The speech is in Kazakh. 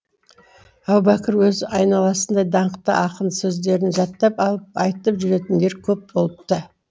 әбубәкір өз айналасында даңқты ақын сөздерін жаттап алып айтып жүретіндер көп болыпты